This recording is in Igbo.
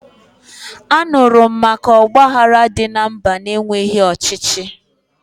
Anụrụ m maka ọgbaghara dị na mba na-enweghi ọchịchị